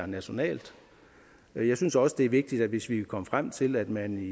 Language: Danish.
nationalt og jeg synes også det er vigtigt hvis vi kan komme frem til at man